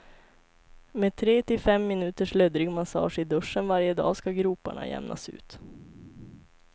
Med tre till fem minuters löddrig massage i duschen varje dag ska groparna jämnas ut.